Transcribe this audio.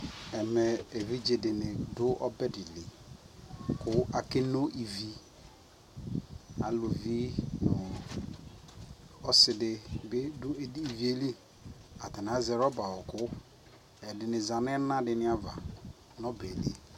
Ɛmɛ evidzedi ni du ɔbɛ dlι kʋ akeno ivi Alʋvi nʋ ɔsidi bι dʋ edini yɛ lι Atani azɛ rɔba ɔɔkʋ, ɛdι nι zanʋ ɛna dini ava nʋ ɔbɛ yɛ lι